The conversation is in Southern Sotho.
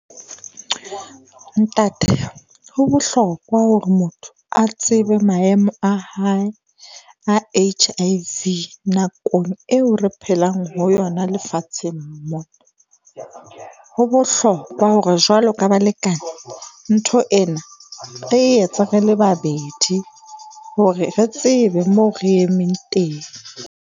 Ntate ho bohlokwa hore motho a tsebe maemo a hae a H_I_V nakong eo re phelang ho yona lefatsheng mo, ho bohlokwa hore jwalo ka balekane ntho ena re e etse re le babedi hore re tsebe moo re emeng teng.